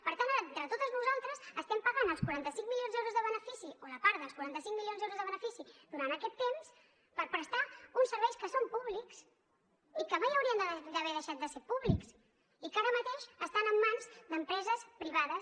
per tant ara entre totes nosaltres estem pagant els quaranta cinc milions d’euros de benefici o la part dels quaranta cinc milions d’euros de benefici durant aquest temps per prestar uns serveis que són públics i que mai haurien d’haver deixat de ser públics i que ara mateix estan en mans d’empreses privades